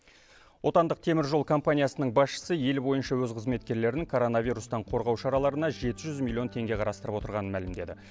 отандық теміржол компаниясының басшысы ел бойынша өз қызметкерлерін коронавирустан қорғау шараларына жеті жүз миллион теңге қарастырып отырғанын мәлімдеді